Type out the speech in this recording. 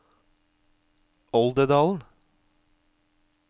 Oldedalen